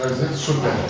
Vəziyyət super.